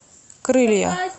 крылья